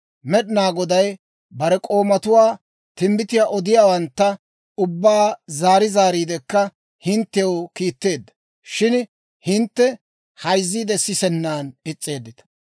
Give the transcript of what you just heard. «Med'inaa Goday bare k'oomatuwaa, timbbitiyaa odiyaawantta ubbaa zaari zaariidekka hinttew kiitteedda; shin hintte hayziide sisennan is's'eeddita.